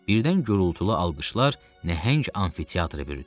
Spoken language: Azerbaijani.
Birdən gurultulu alqışlar nəhəng amfiteatrı bürüdü.